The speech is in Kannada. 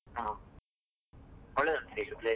ಹಾ, ಒಳ್ಳೆದುಂಟಾ place .